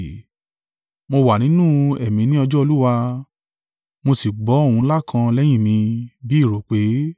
Mo wà nínú Ẹ̀mí ní ọjọ́ Olúwa, mo sì gbọ́ ohùn ńlá kan lẹ́yìn mi, bí ìró ìpè,